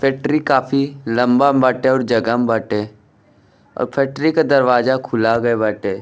Factory काफी लम्बा में बाटे और जगह में बाटे और फैक्ट्री के दरवाजा खुला बे बाटे।